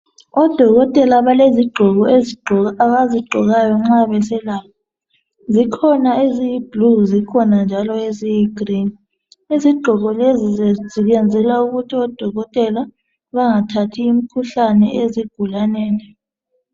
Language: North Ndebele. Odokotela balezigqoko abazigqokayo nxa beselapha zikhona eziyiblue zikhona njalo eziyigreen izigqoko lezi ziyenzelwa ukuthi odokotela bangathathi imkhuhlane ezigulaneni